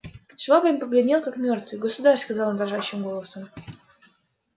швабрин побледнел как мёртвый государь сказал он дрожащим голосом